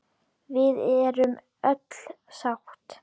Við erum öll sátt.